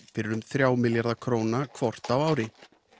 fyrir um þrjá milljarða króna hvort á ári